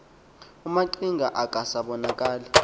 omaqhinga akasa bonakali